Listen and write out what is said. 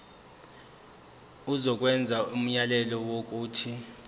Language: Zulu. izokwenza umyalelo wokuthi